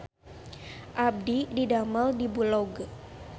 Abdi didamel di Bulog